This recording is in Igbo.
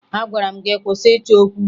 Agwara m gị kwụsị ịchọ okwu!